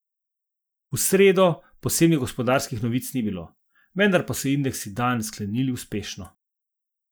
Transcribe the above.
V sredo posebnih gospodarskih novic ni bilo, vendar pa so indeksi dan sklenili uspešno.